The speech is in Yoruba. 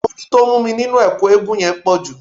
Ooru tó mú mi nínú ẹ̀kú eégún yẹn pàpọ̀jù